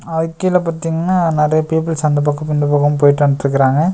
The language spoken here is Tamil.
அ அதுக்கு கீழ பாத்திங்னா நெறைய பீப்ல்ஸ் அந்த பக்கமு இந்த பக்கமு போயிட்டு வந்ட்டு இருக்கறாங்க.